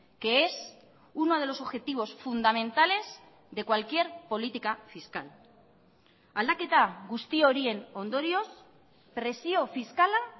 que es uno de los objetivos fundamentales de cualquier política fiscal aldaketa guzti horien ondorioz presio fiskala